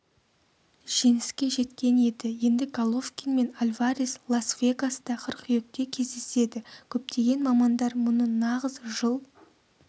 жеңіске жеткен еді енді головкин мен альварес лас-вегаста қыркүйекте кездеседі көптеген мамандар мұны нағыз жыл